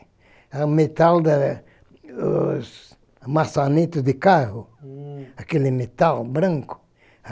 É o metal da dos maçanetas de carro, uhm, aquele metal branco.